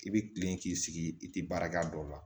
I bɛ kilen k'i sigi i tɛ baarakɛ a dɔw la